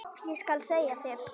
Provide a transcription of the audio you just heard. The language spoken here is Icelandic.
Ég skal segja þér,